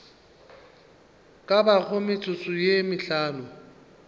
ka bago metsotso ye mehlano